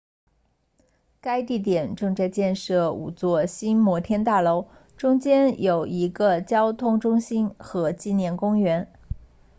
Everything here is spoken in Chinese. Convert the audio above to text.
该地点正在建设五座新摩天大楼中间有一个交通中心和纪念公园